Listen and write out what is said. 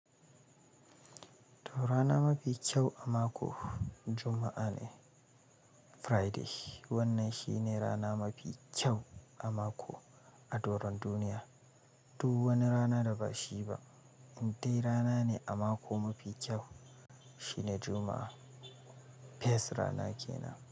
To rana mafi kyau a mako Juma'a ne, Friday. Wannan shine rana mafi kyau a mako a doron duniya. Duk wani rana da ba shi ba in dai rana ne a mako mafi kyau shine Juma'a. Best rana kenan.